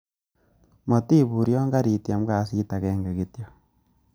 Motibur yon keritiem kasit agenge kityok.